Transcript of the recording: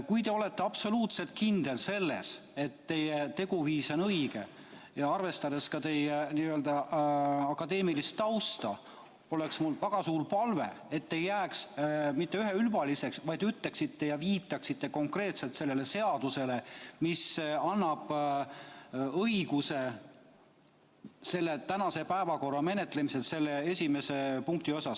Kui te olete absoluutselt kindel selles, et teie teguviis on õige – arvestades ka teie akadeemilist tausta –, siis oleks mul väga suur palve, et te ei jääks mitte üheülbaliseks, vaid viitaksite konkreetselt sellele seadusele, mis annab õiguse tänase päevakorrapunkti menetlemiseks.